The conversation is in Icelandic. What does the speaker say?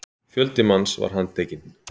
Fjöldi manns var handtekinn